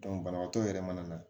banabaatɔ yɛrɛ mana na